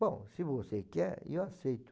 Bom, se você quer, eu aceito.